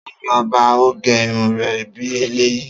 Ta ni ó bá ọ gẹ irun rẹ bí eléyìí?